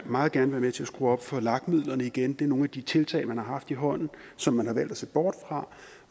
meget gerne være med til at skrue op for lag midlerne igen det er nogle af de tiltag man har haft i hånden som man har valgt at se bort fra